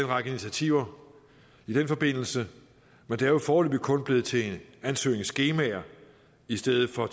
række initiativer i den forbindelse men det er jo foreløbig kun blevet til ansøgningsskemaer i stedet for at